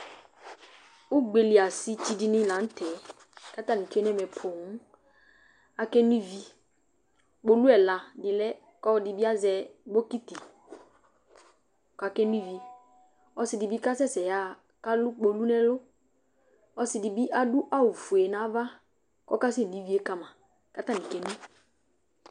ugbeli asɩ dɩnɩ lanutɛ, kʊ atnɩ kewele owu, ake no ivi, owu ɛla dɩ lɛ kʊ ɔlɔdɩ bɩ azɛ bokiti kʊ ake no ivi, ɔsidɩ bɩ kasɛsɛ yaɣa kʊ alʊ kpolu, ɔsidɩ bɩ adʊ awu fue kʊ oke no ivi yɛ kama